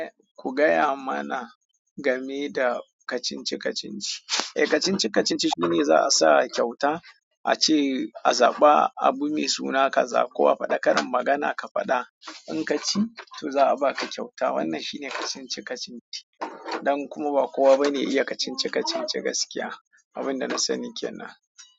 Eh ku gaya mana game da kacinci-kacinci. Eh kacinci-kacinci shine za'a sa kyauta ace azaba abu me suna kaza ko a fada karin magana ka fada in ka ci to za a baka kyauta. Wannan shine kacinci-kacinci. Ɗan kuma ba kowa ba ne iya kacinci-kacinci gaskiya. Abin da na sani kenan.